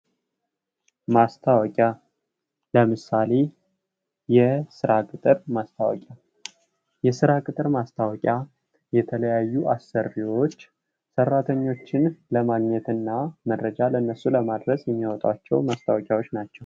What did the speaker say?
ማስታወቂያ ለምሳሌ የስራ ቅጥር ማስታወቂያ የስራ ቅጥር ማስታወቂያ የተለያዩ አሰሪዎች ሰራተኞችን ለማግኘትና መረጃ ለእነሱ ለማድረስ የሚያወጧቸው ማስታወቂያዎች ናቸው።